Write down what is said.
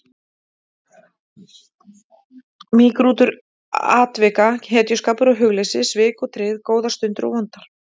Mýgrútur atvika, hetjuskapur og hugleysi, svik og tryggð, góðar stundir og vondar.